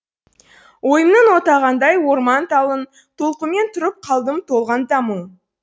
ойымның отағаңдай орман талын толқумен тұрып қалдым толғанта мұң